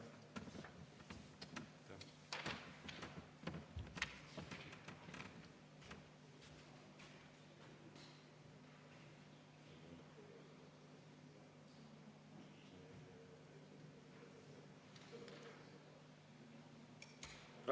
Aitäh!